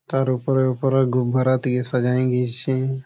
তার উপরে উপরে গুভারা দিয়ে সাঁজায়ে গেসে ।